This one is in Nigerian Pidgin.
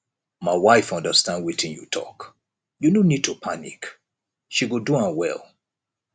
my wife understand wetin you talk you no need to panic she go do am well